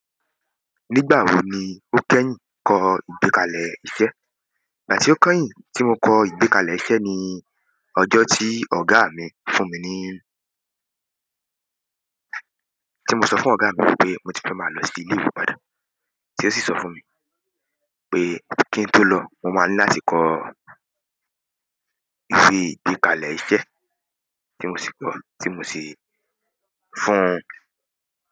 Nígbà wo ni o kẹ́yìn kọ ìgbékalẹ̀ iṣẹ́? Ìgbà tí o kẹ́yìn tí mo kọ ìgbékalẹ̀ iṣẹ́ ni ọjọ́ tí ọ̀gá mi fún mi ni. Tí mo sọ fún ọ̀gá mi wípé mo ti fẹ́ máa lọ sí ilé ìwé padà, tí ó sì sọ fún mi pé kí n tó lọ, mo máa ní láti kọ́ ìgbékalẹ̀ iṣẹ́ tí mo sì kọ́, tí mo sì fún.